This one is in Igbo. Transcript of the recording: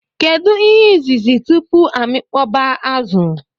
Kedu ihe izuzu tupu amikpọba azu?